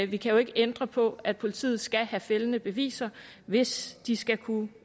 vi kan jo ikke ændre på at politiet skal have fældende beviser hvis de skal kunne